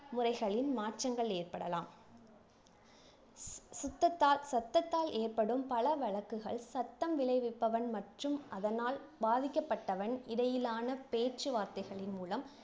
முறைகளின் மாற்றங்கள் ஏற்படலாம் சுத்தத்தால் சத்தத்தால் ஏற்படும் பல வழக்குகள் சத்தம் விளைவிப்பவன் மற்றும் அதனால் பாதிக்கப்பட்டவன் இடையிலான பேச்சுவார்த்தைகளின் மூலம்